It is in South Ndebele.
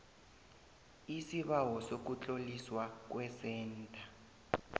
isibawo sokutloliswa kwesentha